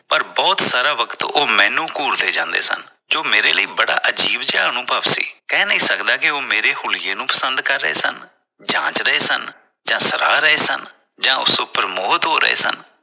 ਪਰ ਬਹੁਤ ਸਾਰਾ ਵਕਤ ਉਹ ਮੈਨੂੰ ਘੂਰਦੇ ਜਾਂਦੇ ਸਨ ਜੋ ਮੇਰੇ ਲਈ ਬੜਾ ਅਜੀਬ ਜਾ ਅਨੁਭਵ ਸੀ l ਕਹਿ ਨਹੀ ਸਕਦਾ ਕਿ ਉਹ ਮੇਰੇ ਹੂਲੀਏ ਨੂੰ ਪਸੰਦ ਕਰ ਰਹੇ ਸਨ ਜਾਂਚ ਰਹੇ ਸਨ ਜਾਂ ਸਲਾਹ ਰਹੇ ਸਨ ਜਾਂ ਉਸ ਉਪਰ ਮੋਹਿਤ ਹੋ ਰਹੇ ਸਨ।